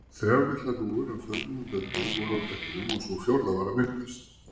Þrjár litlar hrúgur af fölnuðum laufblöðum voru á blettinum og sú fjórða var að myndast.